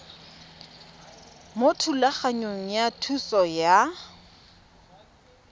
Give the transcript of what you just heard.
mo thulaganyong ya thuso y